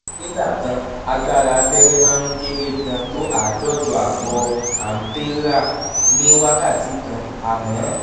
nígbà kan agbára abẹ́rẹ́ máa ń kéré gan-an tó àádọ́jọ ààbọ̀ ampérà ní wákàtí kan àmọ́